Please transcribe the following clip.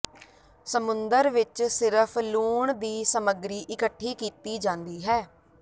ਸਮੁੰਦਰ ਵਿਚ ਸਿਰਫ ਲੂਣ ਦੀ ਸਮੱਗਰੀ ਇਕੱਠੀ ਕੀਤੀ ਜਾਂਦੀ ਹੈ